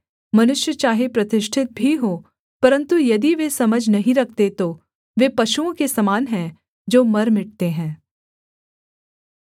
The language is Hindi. मनुष्य चाहे प्रतिष्ठित भी हों परन्तु यदि वे समझ नहीं रखते तो वे पशुओं के समान हैं जो मर मिटते हैं